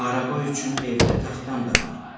Araba üçün evdə taxtam da var.